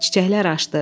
Çiçəklər açdı.